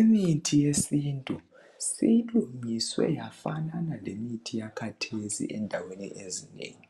Imithi yesintu silungiswe yafanana lemithi yakhathesi endaweni ezinengi.